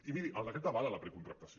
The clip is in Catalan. i miri el decret avala la precontractació